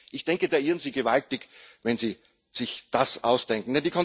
Ich denke, da irren Sie gewaltig, wenn Sie sich das ausdenken.